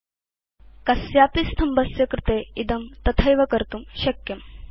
तालिकायां कस्य अपि स्तम्भस्य कृते वयं इदं तथैव कर्तुं शक्नुम